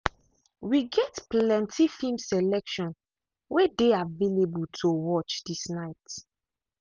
we get plenty film selection way dey available to watch this night.